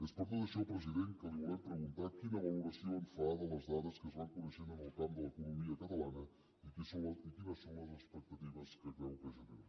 és per tot això president que li volem preguntar quina valoració en fa de les dades que es van coneixent en el camp de l’economia catalana i quines són les expectatives que creu que generen